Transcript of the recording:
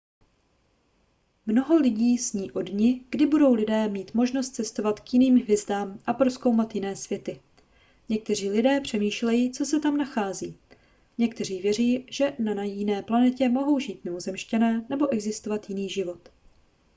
mnoho lidí sní o dni kdy budou lidé mít možnost cestovat k jiným hvězdám a prozkoumat jiné světy někteří lidé přemýšlejí co se tam nachází někteří věří že na jiné planetě mohou žít mimozemšťané nebo existovat jiný život